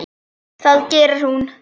Það gerir hún.